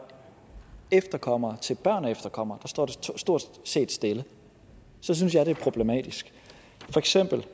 efterkommere til børn af efterkommere står det stort set stille så synes jeg det er problematisk for eksempel